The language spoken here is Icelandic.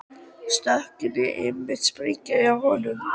Stökkin voru einmitt sérgrein hjá honum.